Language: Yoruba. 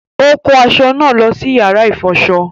Ó kó aṣọ náà lọ sí yàrá ìfọṣọ